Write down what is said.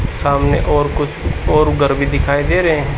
सामने और कुछ और घर भी दिखाई दे रहे हैं।